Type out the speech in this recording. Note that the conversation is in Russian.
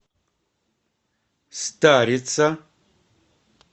старица